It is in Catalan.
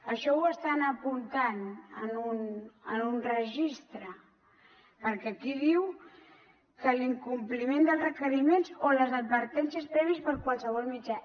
això ho estan apuntant en un registre perquè aquí diu que l’incompliment dels requeriments o les advertències prèvies per qualsevol mitjà